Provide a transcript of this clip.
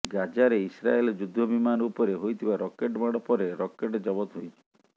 ଗାଜାରେ ଇସ୍ରାଏଲ ଯୁଦ୍ଧ ବିମାନ ଉପରେ ହୋଇଥିବା ରକେଟ୍ ମାଡ଼ ପରେ ରକେଟ୍ ଜବତ ହୋଇଛି